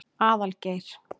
Aðalgeir